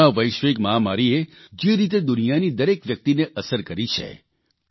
corona વૈશ્વિક મહામારીએ જે રીતે દુનિયાની દરેક વ્યક્તિને અસર કરી છે